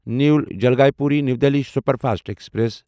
new Jalpaiguri new Delhi superfast express